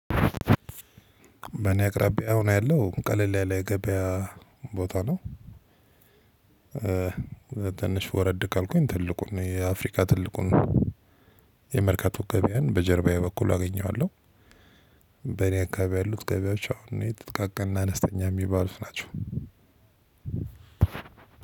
በእኔ አቅራቢያ አሂን ያለው ቀለል ያለ የገበያ ቦታ ነው ትንሽ ወረድ ካልኩኝ ትልቁን የአፍሪካ ትልቁን የመርካቶ ገበያን በጀርባዬ በኩል አገኘዋለሁ በእኔ አካባቢ ያሉት ገበያዎች አሁን እኔ ጥቃቅንና አነስተኛ እሚባልት ናቸው።